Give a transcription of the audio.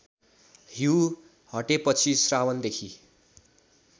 हिँउ हटेपछि श्रावणदेखि